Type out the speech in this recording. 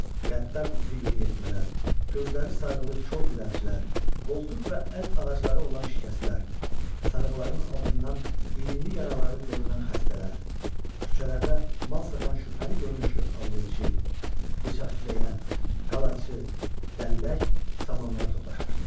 Qəddar üzlü yeniyetmələr, gözləri sarğılı kor dilənçilər, qoltuq və əl ağacları olan şikəstlər, sarğıların altından irinli yaraları görünən xəstələr, küçələrdə mal satan şübhəli görünüşlü alverçi, bıçaq tiləyən, qalaçı, dəllək samanlığa toplaşmışdılar.